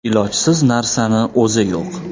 Ilojsiz narsani o‘zi yo‘q.